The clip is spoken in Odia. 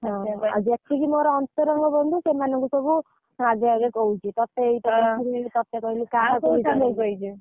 ଆଉ ଯେତିକି ମୋର ଅନ୍ତରଙ୍ଗ ବନ୍ଧୁ ସେମାନଙ୍କୁ ସବୁ ଆଗେ ଆଗେ କହୁଛି ତତେ ।